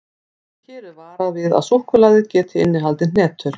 Hér er varað við að súkkulaðið gæti innihaldið hnetur.